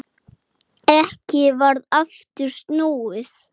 Erindin gátu verið margs konar.